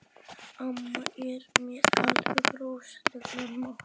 Amma er með alveg rosalegan mat.